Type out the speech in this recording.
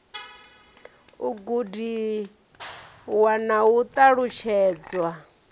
u gudiwa na u ṱalutshedzwa